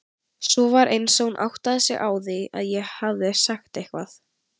Svo var eins og hún áttaði sig á því að ég hefði sagt eitthvað.